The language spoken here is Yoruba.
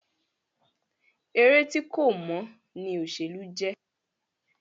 Eré tí kò mọ́ ní òṣèlú jẹ́.